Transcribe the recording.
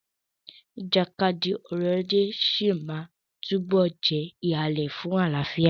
Ìjàkadì ọrọ̀ ajé sí máa túbọ̀ jẹ́ ìhàlẹ̀ fún àlàáfíà.